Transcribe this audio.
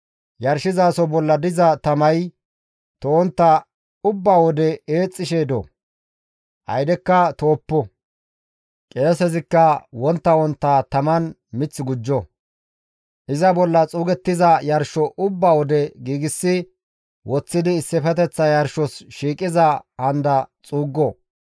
Yarshizaso bolla diza tamay to7ontta ubba wode eexxishe do; aydekka to7oppo; qeesezikka wontta wontta taman mith gujjo; iza bolla xuugettiza yarsho ubba wode giigsi woththidi issifeteththa yarshos shiiqiza handa xuuggo.